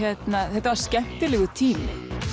þetta var skemmtilegur tími